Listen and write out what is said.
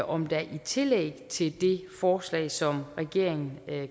om der i tillæg til det forslag som regeringen